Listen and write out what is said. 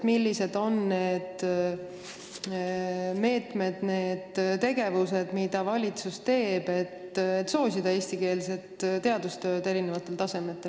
Millised on need meetmed, need tegevused, mis valitsusel on käsil, et soosida eestikeelset teadustööd eri tasemetel?